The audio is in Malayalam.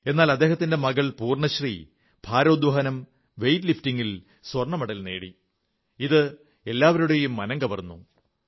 എന്നാൽ അദ്ദേഹത്തിന്റെ മകൾ പൂർണശ്രീ ഭാരോദ്വഹനം വെയ്റ്റ് ലിഫ്റ്റിംഗിൽ സ്വർണ്ണമെഡൽ നേടിക്കൊണ്ട് ഏവരുടെയും മനം കവർന്നു